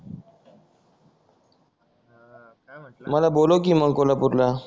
मला बोलव की मग कोल्हापूरला